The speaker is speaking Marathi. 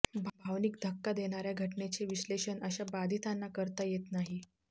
भावनिक धक्का देणाऱ्या घटनेचे विश्लेषण अशा बाधितांना करता येत नाही